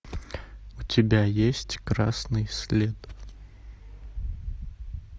у тебя есть красный след